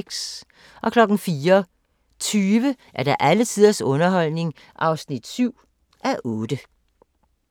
04:20: Alle tiders underholdning (7:8)